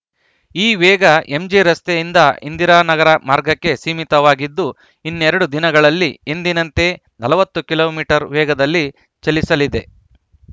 ಈ ವೇಗ ಎಂಜಿರಸ್ತೆಯಿಂದ ಇಂದಿರಾನಗರ ಮಾರ್ಗಕ್ಕೆ ಸೀಮಿತವಾಗಿದ್ದು ಇನ್ನೆರಡು ದಿನಗಳಲ್ಲಿ ಎಂದಿನಂತೆ ನಲವತ್ತು ಕಿಲೋ ಮೀಟರ್ ವೇಗದಲ್ಲಿ ಚಲಿಸಲಿದೆ